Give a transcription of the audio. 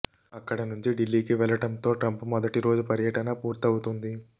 అక్కడ నుంచి ఢిల్లీకి వెళ్లడంతో ట్రంప్ మొదటి రోజు పర్యటన పూర్తవుతుంది